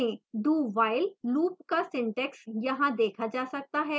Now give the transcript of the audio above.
dowhile loop का syntax यहाँ देखा जा सकता है